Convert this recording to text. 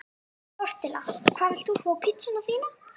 Tortilla Hvað vilt þú fá á pizzuna þína?